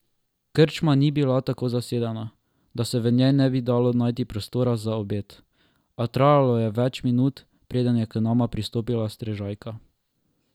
Krčma ni bila tako zasedena, da se v njej ne bi dalo najti prostora za obed, a trajalo je več minut, preden je k nama pristopila strežajka.